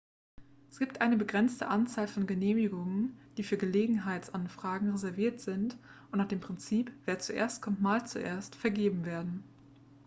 es gibt eine begrenzte anzahl von genehmigungen die für gelegenheitsanfragen reserviert sind und nach dem prinzip wer zuerst kommt mahlt zuerst vergeben werden